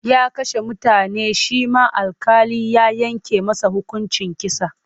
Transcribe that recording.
Ya kashe mutane shi ma alƙali ya yanke masa hukuncin kisa.